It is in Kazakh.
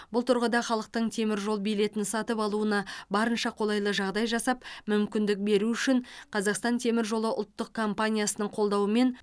бұл тұрғыда халықтың теміржол билетін сатып алуына барынша қолайлы жағдай жасап мүмкіндік беру үшін қазақстан темір жолы ұлттық компаниясының қолдауымен